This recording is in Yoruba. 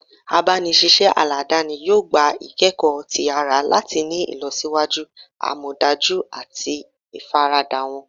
Agbanisiṣẹ aladani yoo gba ikẹkọ ti ara lati ni ilọsiwaju amọdaju ati ifarada wọn. "